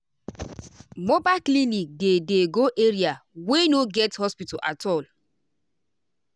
mobile clinic dey dey go area wey no get hospital at all.